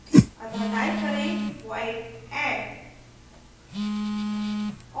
अतः type करें void add